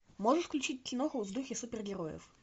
можешь включить киноху в духе супергероев